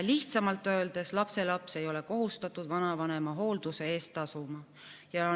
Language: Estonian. Lihtsamalt öeldes: lapselaps ei ole kohustatud vanavanema hoolduse eest tasuma.